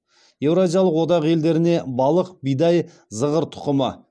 еуразиялық одақ елдеріне балық бидай зығыр тұқымы